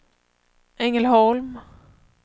Ängelholm